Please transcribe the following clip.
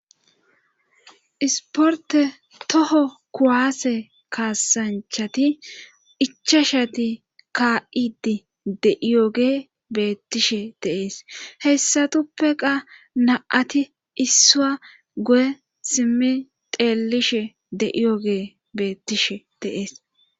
isporte toho kuwaase kaasanchati ichashati kaa7idi deiyoge beettishe deees heyssatuppeqa na7ati issua go7e simmi xeelishe de7iyoge beettishe deees